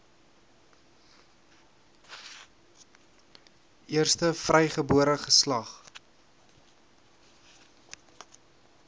eerste vrygebore geslag